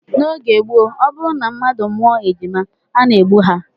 N'oge gboo, ọ bụrụ na mmadụ mụọ ejima a na-egbu ha